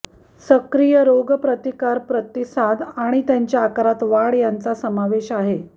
सक्रिय रोगप्रतिकार प्रतिसाद आणि त्यांच्या आकारात वाढ यांचा समावेश आहे